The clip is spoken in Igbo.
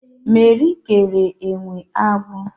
Meri kere enwe agbụ